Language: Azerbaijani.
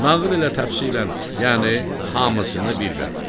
Nağıl elə təfsilən, yəni hamısını bir bə bir.